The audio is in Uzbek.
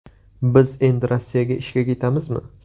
Biz endi Rossiyaga ishga ketamizmi?